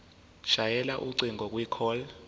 shayela ucingo kwicall